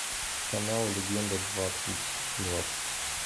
канал легенда двадцать двадцать